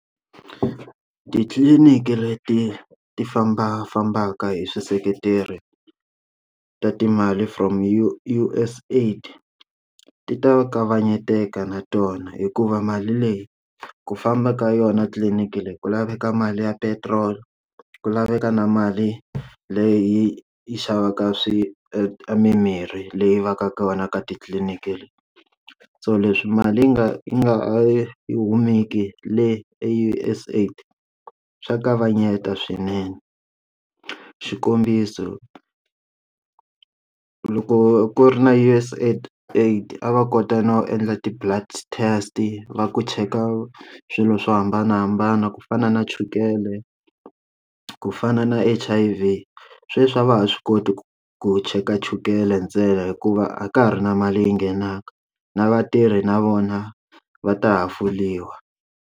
Titliliniki leti ti fambafambaka hi swiseketeri ta timali from U_S AID ti ta kavanyeteka na tona hikuva mali leyi ku famba ka yona tliliniki leyi ku laveka mali ya petiroli ku laveka na mali leyi yi xavaka swi mimirhi leyi va ka kona ka titliliniki so leswi mali yi nga yi nga i yi humile yi le U_S AID swa kavanyeta swinene xikombiso loko ku ri na U_S AID aid a va kota na ku endla ti blood test va ku cheka swilo swo hambanahambana ku fana na chukele ku fana na H_I_V sweswi a va ha swi koti ku ku cheka chukele ntsena hikuva a ka ha ri na mali yi nghenaka na vatirhi na vona va ta hafuliwa.